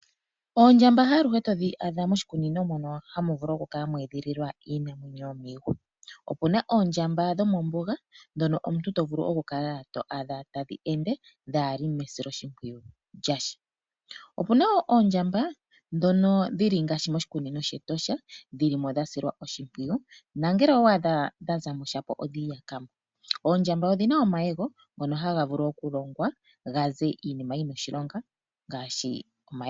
Oondjamba haaluhe todhi adha moshikunino mono hamu edhililwa iinamwenyo yomiihwa. Opuna Oondjamba dhomombuga ndhono omuntu to vulu oku adha tadhi ende dhaali mesiloshimpwiyu lyasha. Opuna woo oondjamba ndhono dhili ngaashi moshikunino she Etosha, dhili mo dhasilwa oshimpwiyu na ngele owa adha dha za mo shapo odhiiyaka mo. Oondjamba odhina omayego ngoka haga vulu okulongwa gaze iinima oyindji yina oshilonga.